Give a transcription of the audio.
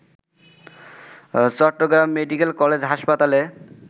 Chittagong medical college হাসপাতালে